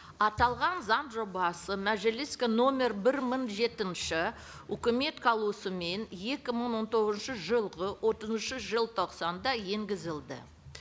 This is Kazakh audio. аталған заң жобасы мәжіліске нөмір бір мың жетінші үкімет қаулысымен екі мың он тоғызыншы жылғы отызыншы желтоқсанда енгізілді